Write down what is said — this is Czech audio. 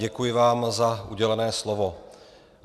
Děkuji vám za udělené slovo.